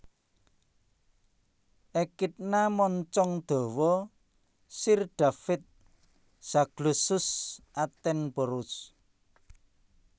Ekidna moncong dawa Sir David Zaglossus attenborough